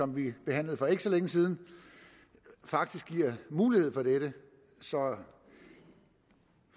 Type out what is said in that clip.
vi behandlede for ikke så længe siden faktisk giver mulighed for dette så